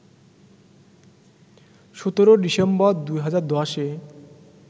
১৭ December, ২০১০-এ